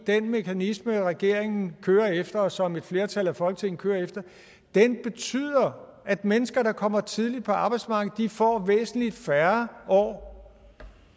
den mekanisme regeringen kører efter og som et flertal i folketinget kører efter betyder at mennesker der kommer tidligt ud på arbejdsmarkedet får væsentlig færre år